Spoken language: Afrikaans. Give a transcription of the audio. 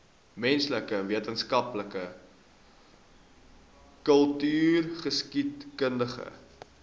menslike wetenskappe kultureelgeskiedkundige